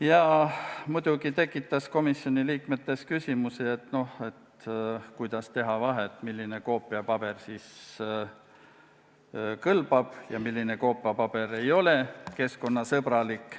Ja muidugi tekitas komisjoni liikmetes küsimusi, kuidas teha vahet, milline koopiapaber kõlbab ja milline koopiapaber ei ole keskkonnasõbralik.